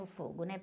No fogo, né?